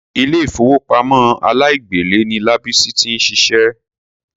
Ilé ìfowópamọ́ aláìgbèlé ni Lábísí ti ń ṣiṣẹ́.